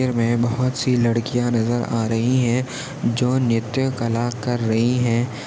तस्वीर मे बहुत सी लडकिया नजर आ रही है जो नृत्यकला कर रही है।